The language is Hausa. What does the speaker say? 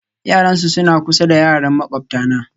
Yarana suna kusa da yaran makwabtana